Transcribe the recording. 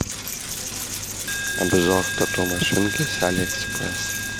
обзор тату машинки с али экспресс